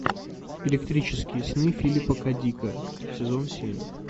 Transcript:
электрические сны филипа к дика сезон семь